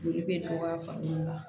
Joli bɛ dɔgɔya fan minnu na